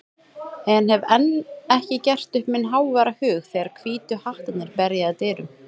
en hef enn ekki gert upp minn háværa hug þegar Hvítu hattarnir berja að dyrum.